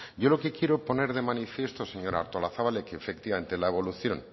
yo lo que quiero poner de manifiesto señora artolazabal es que efectivamente la evolución